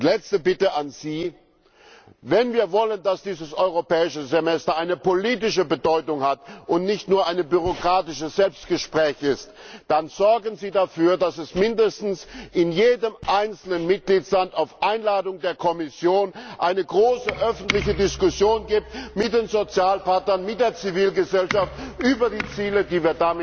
Letzte Bitte an Sie Wenn wir wollen, dass dieses Europäische Semester eine politische Bedeutung hat und nicht nur ein bürokratisches Selbstgespräch ist, dann sorgen Sie dafür, dass es in jedem einzelnen Mitgliedsland auf Einladung der Kommission zumindest eine große öffentliche Diskussion gibt mit den Sozialpartnern, mit der Zivilgesellschaft, über die Ziele, die